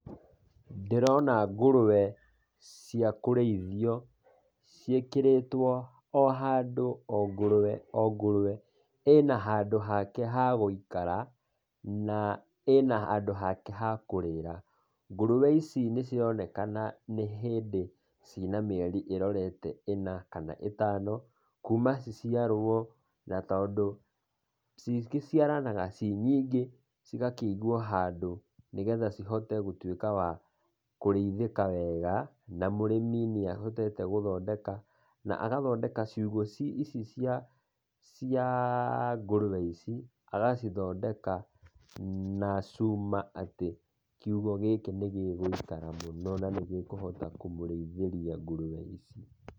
Ndĩrona ngũrũe cia kũrĩithio ciĩkĩrĩtwo o handũ, o ngũrũe, o ngũrwe ĩna handũ hake ha gũikara, na ĩna handũ hake ha kũrĩĩra. Ngũrwe ici nĩcironekana nĩ hĩndĩ cina mĩeri ĩrorete ĩna kana ĩtano kuma ciciarwo, na tondũ ciciaranaga ci nyingĩ, cigakĩigwo handũ nĩgetha cihote gũtuĩka wa kũrĩithĩka wega na mũrĩmi nĩahotete gũthondeka, na agathondeka ciugũ ici cia ngũrũe ici agacithondeka na cuma atĩ, kiugũ gĩkĩ nĩgĩgũikara mũno na nĩgĩkũhota kũmũrĩithĩria ngũrwe ici.